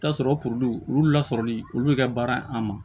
I bi t'a sɔrɔ puruke olu lasɔrɔli olu bɛ kɛ baara ye an ma